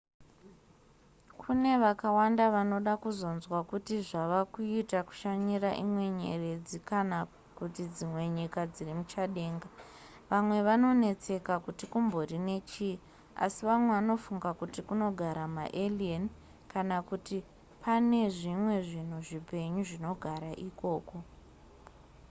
kune vakawanda vanoda kuzonzwa kuti zvava kuita kushanyira imwe nyeredzi kana kuti dzimwe nyika dziri muchadenga vamwe vanonetseka kuti kumbori nechii uye vamwe vanofunga kuti kunogara maalien kana kuti pane zvimwe zvinhu zvipenyu zvinogara ikoko